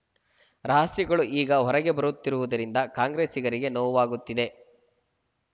ರಹಸ್ಯಗಳು ಈಗ ಹೊರಗೆ ಬರುತ್ತಿರುವುದರಿಂದ ಕಾಂಗ್ರೆಸ್ಸಿಗರಿಗೆ ನೋವಾಗುತ್ತಿದೆ